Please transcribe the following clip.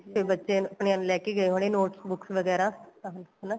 ਫੇਰ ਬੱਚਿਆਂ ਨੂੰ ਅਪਣਿਆ ਨੂੰ ਲੈਕੇ ਗਏ ਹੋਣੇ notes books ਵਗੈਰਾ ਆਹੋ ਹਨਾ